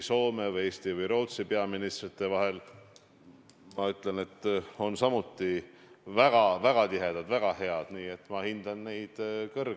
Ma jätkan ühenduste ja piiride teemal, aga küsimus on palju lähemast kandist – saartel elavad inimesed.